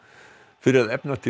fyrir að efna til